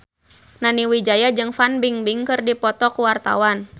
Nani Wijaya jeung Fan Bingbing keur dipoto ku wartawan